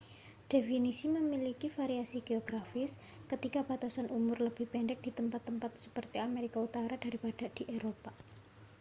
definisi memiliki variasi geografis ketika batasan umur lebih pendek di tempat-tempat seperti amerika utara daripada di eropa